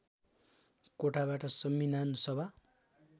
कोटाबाट संविधान सभा